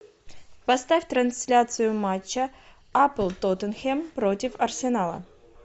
поставь трансляцию матча апл тоттенхэм против арсенала